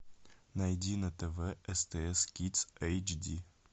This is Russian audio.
найди на тв стс кидс эйч ди